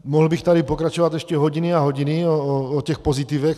Mohl bych tady pokračovat ještě hodiny a hodiny o těch pozitivech.